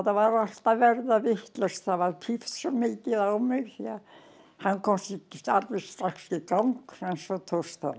var allt að verða vitlaust það var svo mikið á mig því hann komst ekki alveg strax í gang en svo tókst það